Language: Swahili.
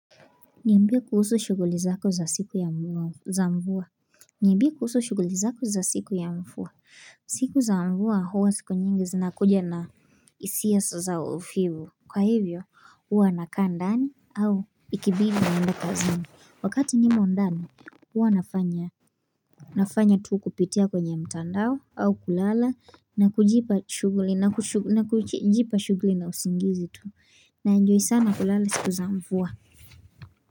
Niambie kuhusu shughuli zako za siku ya mvua niambie kuhusu shughuli zako za siku ya mvua siku za mvua huwa siku nyingi zinakuja na hisia Kwa hivyo huwa nakaa ndani au ikibidi na naenda kazini Wakati nimo ndani huwa nafanya nafanya tu kupitia kwenye mtandao au kulala na kujipa shughuli na usingizi tu na enjoy sana kulala siku za mvua.